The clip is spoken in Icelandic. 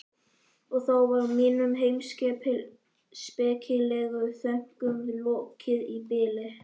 Og þá var mínum heimspekilegu þönkum lokið í bili.